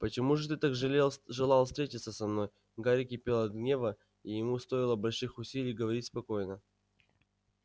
почему же ты так желал встретиться со мной гарри кипел от гнева и ему стоило больших усилий говорить спокойно